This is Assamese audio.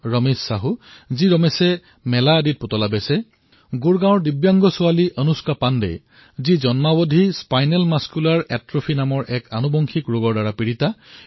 ৰমেশে স্বয়ং মেলাত খেলাপুতলা বিক্ৰী কৰিছিল অথবা গুড়গাঁৱৰ দিব্যাংগ কন্যা অনুষ্কা পাণ্ডা যি জন্মতেই স্পাইনেল মাস্কুলাৰ অট্ৰফী নামৰ এক অনুবংশিক ৰোগৰ দ্বাৰা আক্ৰান্ত